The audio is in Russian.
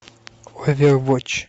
овервотч